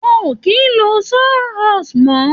Wọn ò kì í lo saw horse mọ́.